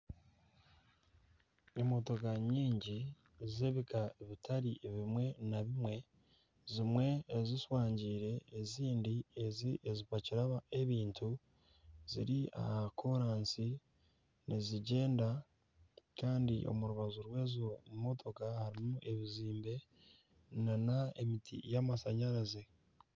Emotoka nyingi Kandi z'ebika bitari bimwe na bimwe zimwe eziswangiire ezindi eziriyo nizipakira ebintu ziri aha kolansi nizigyenda Kandi omu rubaju rwezo motoka harimu ebizimbe nana emiti y'amashanyarazi